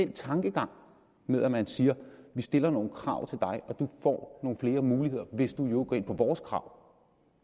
tankegang når man siger vi stiller nogle krav til dig og du får nogle flere muligheder hvis du går ind på vores krav